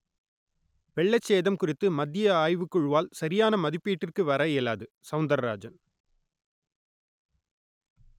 வெள்ள சேதம் குறித்து மத்திய ஆய்வுக் குழுவால் சரியான மதிப்பீட்டிற்கு வர இயலாது சவுந்தரராஜன்